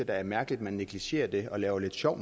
da mærkeligt at man negligerer det og laver lidt sjov